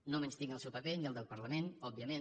no menystinc el seu paper ni el de parlament òbviament